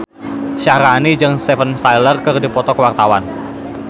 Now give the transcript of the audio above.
Syaharani jeung Steven Tyler keur dipoto ku wartawan